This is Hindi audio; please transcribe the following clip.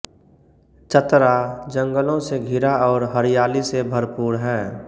चतरा जंगलों से घिरा और हरियाली से भरपूर है